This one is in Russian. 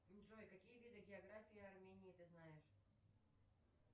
джой какие виды географии армении ты знаешь